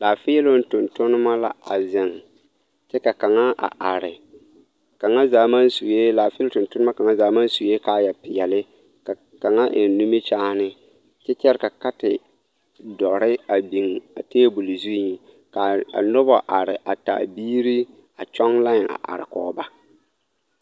Laafeeloŋ tontonma la a zeŋ kyɛ ka kaŋa a are kaŋa zaa maŋ sue laafeeloŋ tontona kaŋa zaa maŋ sue kaayapeɛlle ka kaŋa eŋ nimikyaane kyɛ katedɔre a biŋ a table zuŋ ka a noba are a taa biiri a kyɔŋ line a are kɔge ba.